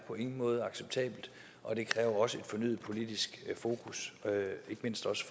på ingen måde er acceptabelt og det kræver et fornyet politisk fokus ikke mindst også